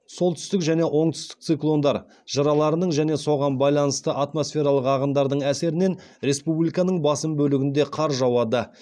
солтүстік және оңтүстік циклондар жыраларының және соған байланысты атмосфералық ағындардың әсерінен республиканың басым бөлігінде қар жауады